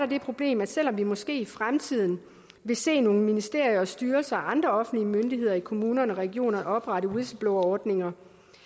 det problem at selv om vi måske i fremtiden vil se nogle ministerier og styrelser og andre offentlige myndigheder i kommuner og regioner oprette whistleblowerordninger